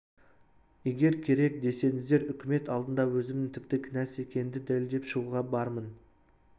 егер керек десеңіздер үкімет алдында өзімнің тіпті кінәсіз екенімді дәлелдеп шығуға бармын